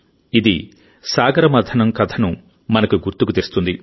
ఇది సాగరమథనం కథను మనకు గుర్తుకు తెస్తుంది